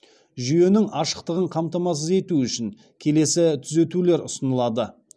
жүйенің ашықтығын қамтамасыз ету үшін келесі түзетулер ұсынылады